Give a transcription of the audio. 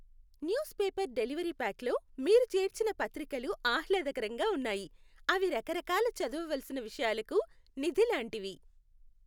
News paper delivery ప్యాక్లో మీరు చేర్చిన పత్రికలు ఆహ్లాదకరంగా ఉన్నాయి. అవి రకరకాల చదువవలసిన విషయాలకు నిధి లాంటివి.